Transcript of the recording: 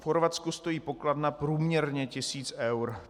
V Chorvatsku stojí pokladna průměrně tisíc eur.